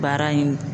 Baara in